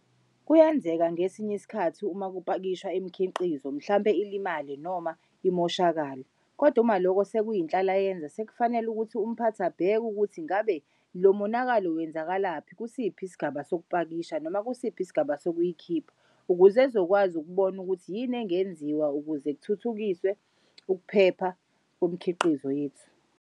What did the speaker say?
Kuyenzeka ngesinye isikhathi uma kupakishwa imikhiqizo mhlampe ilimale noma imoshakale, kod'umaloko sekuyinhlalayenza sekufanele ukuthi umphathi abheke ukuthi ngabe lomonakalo wenzakalaphi kusiphi isigaba sokupakakisha noma kusiphi isigaba sokuyikhipha ukuze ezokwazi ukubona ukuthi yini engenziwa ukuze kuthuthukiswe ukuphepha komkhiqizo yethu.